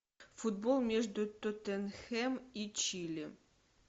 футбол между тоттенхэм и чили